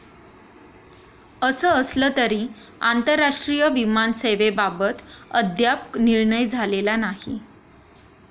असं असलं तरी आंतरराष्ट्रीय विमान सेवेबाबत अद्याप निर्णय झालेला नाही.